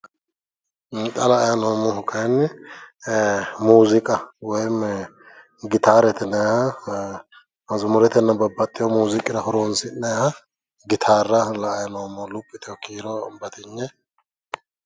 xa la"ayi noommohu muuziiqa woyi gitaarete mazumuretenna babbaxewo muuziiqira horonsi'nayiiha gitaarra la"ayi noommo. luphi yitewo kiiro batinye.